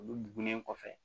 Olu bugunen kɔfɛ